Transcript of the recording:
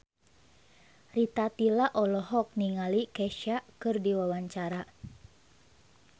Rita Tila olohok ningali Kesha keur diwawancara